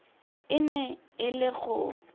e ne e le go